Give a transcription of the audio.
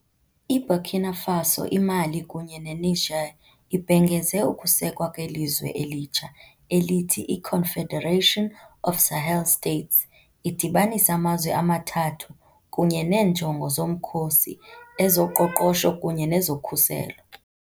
IBurkina Faso, iMali kunye neNiger ibhengeze ukusekwa kwelizwe elitsha, elithi " I-Confederation of Sahel States ", idibanisa amazwe amathathu kunye neenjongo zomkhosi, ezoqoqosho kunye nezokhuselo.